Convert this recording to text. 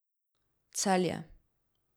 Celje.